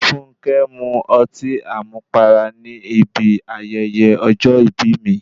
Fúnnkẹ́ mu ọtí àmupara ní bi ayẹyẹ ọjọ́ ìbí mi.